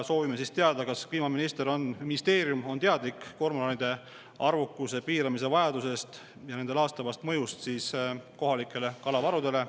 Soovime teada, kas kliimaminister, ministeerium on teadlik kormoranide arvukuse piiramise vajadusest ja nende laastavast mõjust kohalikele kalavarudele.